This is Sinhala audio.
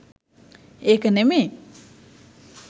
ඒක නෙමෙයි.